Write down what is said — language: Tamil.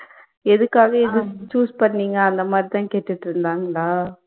எதுக்காக இது choose பண்ணிங்க அந்த மாதிரி தான் கேட்டுட்டுருந்தாங்களா